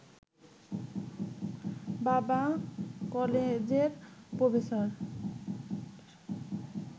বাবা কলেজের প্রফেসর